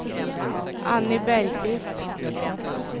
Anny Bergqvist